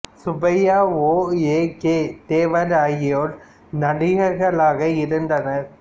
சுப்பையா ஓ ஏ கே தேவர் ஆகியோர் நடிகர்களாக இருந்தனர்